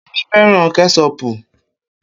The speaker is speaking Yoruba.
Kemi fẹ́ràn Kẹ́ṣọpù